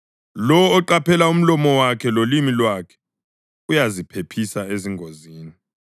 Lowo oqaphela umlomo wakhe lolimi lwakhe uyaziphephisa ezingozini.